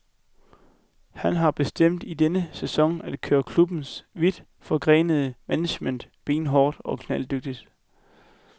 Han har bestemt i denne sæson at køre klubbens vidt forgrenede management benhårdt og knalddygtigt.